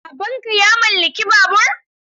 Baban ka ya mallaki babur?